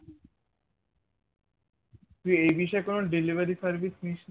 তুই এই বিষয়ে কোনো delivery service নিসনি?